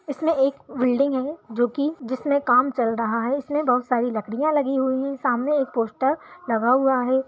इसमें एक बिल्डिंग है जो कि जिसमें काम चल रहा है जिसमें बहुत सारी लकड़ियाँ लगी हुई हैं सामने एक पोस्टर लगा हुआ है।